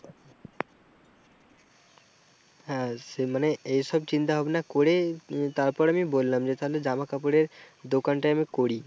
হ্যাঁ সে মানে এইসব চিন্তা-ভাবনা করে তারপরে আমি বললাম যে তালে জামা কাপড়ের দোকানটা আমি করি।